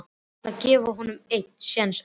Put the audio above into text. Ég ætla að gefa honum einn séns enn.